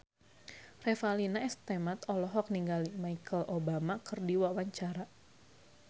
Revalina S. Temat olohok ningali Michelle Obama keur diwawancara